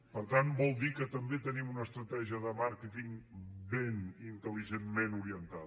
per tant vol dir que també tenim una estratègia de màrqueting ben intelligentment orientada